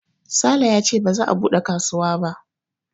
Sale yace ba za a buɗe kasuwa ba